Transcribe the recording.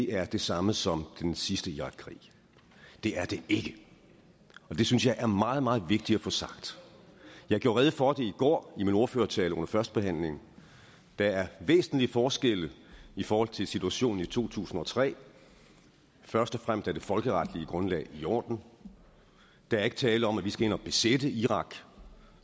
er det samme som den sidste irakkrig det er det ikke det synes jeg er meget meget vigtigt at få sagt jeg gjorde rede for det i går i min ordførertale under førstebehandlingen der er væsentlige forskelle i forhold til situationen i to tusind og tre først og fremmest er det folkeretlige grundlag i orden der er ikke tale om at vi skal ind og besætte irak